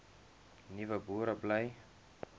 nuwe boere bly